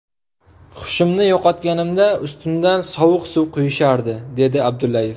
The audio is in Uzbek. Hushimni yo‘qotganimda ustimdan sovuq suv quyishardi”, dedi Abdullayev.